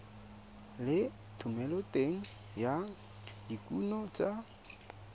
le thomeloteng ya dikuno tsa